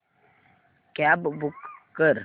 cab book कर